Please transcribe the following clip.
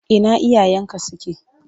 Ina iyayenka suke?